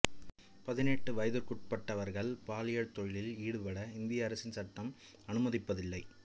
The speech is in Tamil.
பதினெட்டு வயதிற்கு உட்பட்டவர்கள் பாலியற் தொழிலில் ஈடுபட இந்திய அரசின் சட்டம் அனுமதிப்பதில்லை